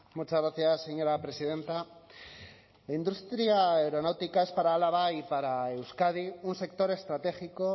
muchas gracias señora presidenta la industria aeronáutica es para álava y para euskadi un sector estratégico